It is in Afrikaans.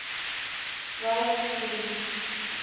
ralph links